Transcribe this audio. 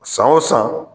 San o san